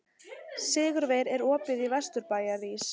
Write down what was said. Sigurveig, er opið í Vesturbæjarís?